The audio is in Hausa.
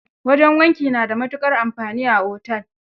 Wajen wanki na da matukar amfani a otel.